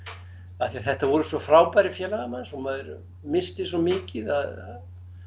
af því að þetta voru svo frábærir félagar manns og maður missti svo mikið að